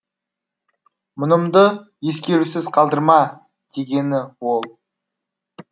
мұнымды ескерусіз қалдырма дегені ол